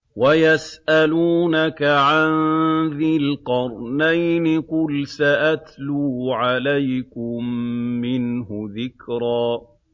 وَيَسْأَلُونَكَ عَن ذِي الْقَرْنَيْنِ ۖ قُلْ سَأَتْلُو عَلَيْكُم مِّنْهُ ذِكْرًا